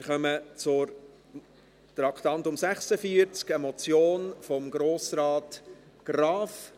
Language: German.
Wir kommen zum Traktandum 46, einer Motion von Grossrat Graf.